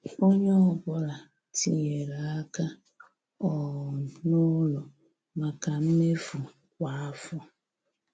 Ònye ọ́bụ̀la tinyèrè aka um n' ụlọ maka mmefu kwa afọ.